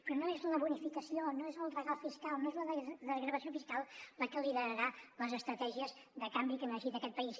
però no és la bonificació no és el regal fiscal no és la desgravació fiscal la que liderarà les estratègies de canvi que necessita aquest país